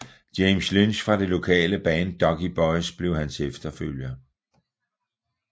James Lynch fra det lokale band Ducky Boys blev hans opfølger